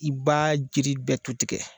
I b b'a jiri bɛɛ tu tigɛ!